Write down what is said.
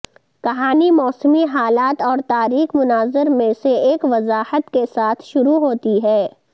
کہانی موسمی حالات اور تاریک مناظر میں سے ایک وضاحت کے ساتھ شروع ہوتی ہے